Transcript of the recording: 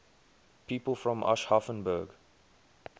people from aschaffenburg